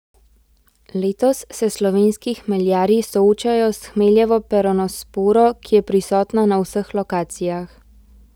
Letos se slovenski hmeljarji soočajo s hmeljevo peronosporo, ki je prisotna na vseh lokacijah.